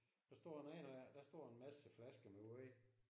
Der står en rigtig der står en masse flasker med wåj